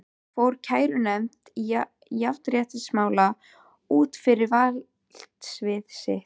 Fór kærunefnd jafnréttismála út fyrir valdsvið sitt?